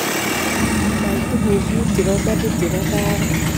Nai tuguk mut chebo imanit chebo ndaret